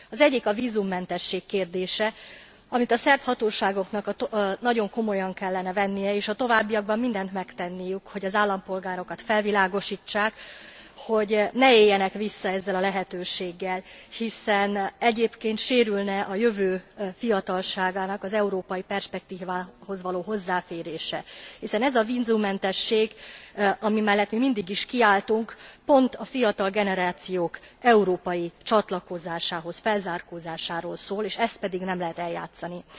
Az egyik a vízummentesség kérdése, amit a szerb hatóságoknak nagyon komolyan kellene vennie és a továbbiakban mindent megtenniük, hogy az állampolgárokat felvilágosítsák, hogy ne éljenek vissza ezzel a lehetőséggel, hiszen egyébként sérülne a jövő fiatalságának az európai perspektívához való hozzáférése, hiszen ez a vízummentesség, ami mellett mindig is kiálltunk, pont a fiatal generációk európai csatlakozásához, felzárkózásáról szól, és ezt pedig nem lehet eljátszani.